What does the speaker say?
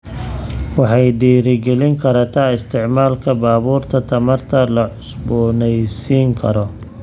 Waxay dhiirigelin kartaa isticmaalka baabuurta tamarta la cusboonaysiin karo.